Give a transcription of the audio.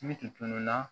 Ni tununna